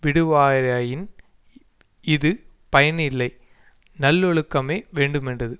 விடுவாராயின் இது பயனில்லை நல்லொழுக்கமே வேண்டுமென்றது